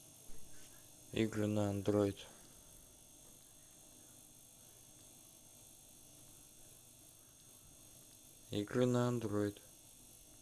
игры на андроид игры на андроид